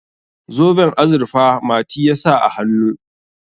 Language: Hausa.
zoben azurfa mati ya sa a hannu